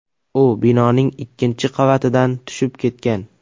U binoning ikkinchi qavatidan tushib ketgan.